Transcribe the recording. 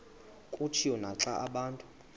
kutshiwo naxa abantu